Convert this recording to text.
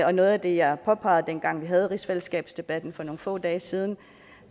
og noget af det jeg påpegede dengang vi havde rigsfællesskabsdebatten for nogle få dage siden